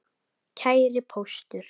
Kæri Póstur!